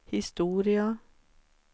historia